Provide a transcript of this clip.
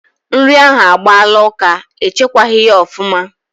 Nri ahụ agbaala ụka, e chekwaghi ya ofuma